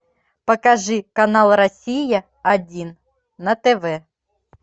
покажи канал россия один на тв